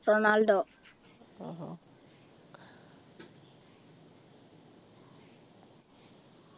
Ronaldo